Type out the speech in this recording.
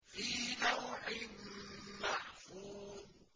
فِي لَوْحٍ مَّحْفُوظٍ